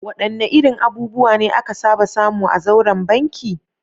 Wadanne irin abubuwa ne aka saba samu a zauren banki?